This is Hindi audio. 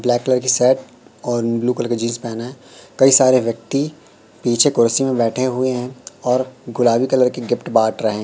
ब्लैक कलर की शर्ट और ब्लू कलर की जींस पेहना है कई सारे व्यक्ति पीछे कुर्सी में बैठे हुए हैं और गुलाबी कलर की गिफ्ट बांट रहे।